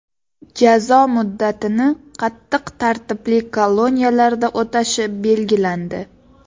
Jazo muddatini qattiq tartibli koloniyalarda o‘tashi belgilandi.